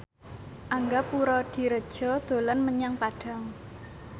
Angga Puradiredja dolan menyang Padang